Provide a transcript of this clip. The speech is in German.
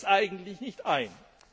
Wir sehen es eigentlich nicht ein.